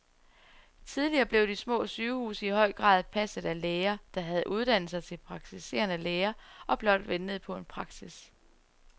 Tidligere blev de små sygehuse i høj grad passet af læger, der havde uddannet sig til praktiserende læger og blot ventede på en praksis.